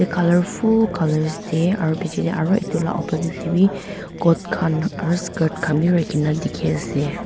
colourfull colours tae aru bichae tae aro edu la opposite tae bi coat khan aru skirt khan bi rakhina dikhiase.